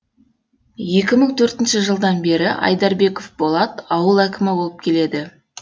екі мың төртінші жылдан бері айдарбеков болат ауыл әкімі болып келеді